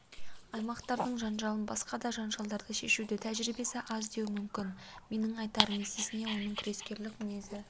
аймақтардың жанжалын басқа да жанжалдарды шешуде тәжірибесі аз деуі мүмкін менің айтарым есесіне оның күрескерлік мінезі